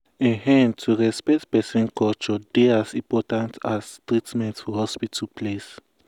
to hear person wey dey sick without judging dem dey help build beta understand for hospital.